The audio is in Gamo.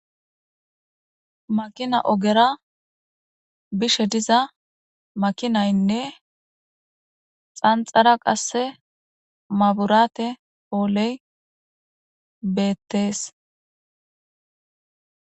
makina ogera bishe diza makinaynne xanxara qasse mabiraate pooley beettees.